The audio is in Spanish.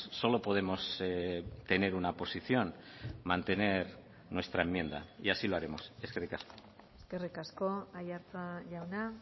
solo podemos tener una posición mantener nuestra enmienda y así lo haremos eskerrik asko eskerrik asko aiartza jauna